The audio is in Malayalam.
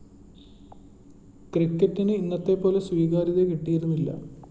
ക്രിക്കറ്റിന് ഇന്നത്തെപ്പോലെ സ്വീകാര്യത കിട്ടിയിരുന്നില്ല